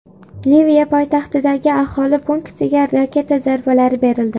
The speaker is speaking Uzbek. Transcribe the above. Liviya poytaxtidagi aholi punktiga raketa zarbalari berildi.